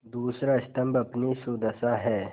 दूसरा स्तम्भ अपनी सुदशा है